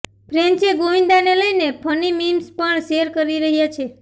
ફેન્સે ગોવિંદાને લઈને funny memes પણ શેર કરી રહ્યાં છે